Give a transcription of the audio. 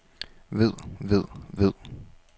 ved ved ved